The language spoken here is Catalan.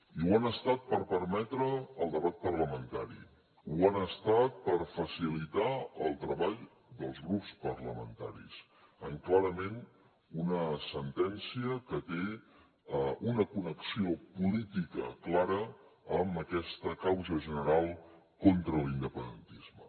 i ho han estat per permetre el debat parlamentari ho han estat per facilitar el treball dels grups parlamentaris en clarament una sentència que té una connexió política clara amb aquesta causa general contra l’independentisme